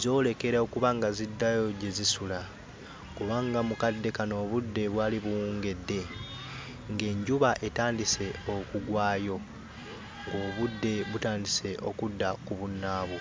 zoolekera okuba nga ziddayo gye zisula kubanga mu kadde kano, obudde bwali buwungedde ng'enjuba etandise okugwayo, obudde butandise okudda ku bunnaabwo.